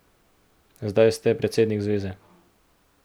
Zdaj ste predsednik zveze.